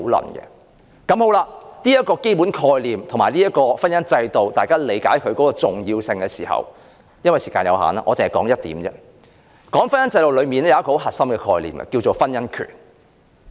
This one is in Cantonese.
當大家皆理解這個基本概念及婚姻制度的重要性時，由於時間所限，我只談一點，便是婚姻制度的核心概念——婚姻權。